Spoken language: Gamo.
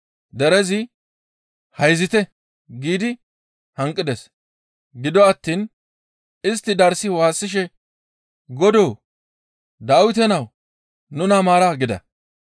Derezi, «Hayzite!» giidi hanqides; gido attiin istti darssi waassishe, «Godoo! Dawite nawu, nuna maara!» gida.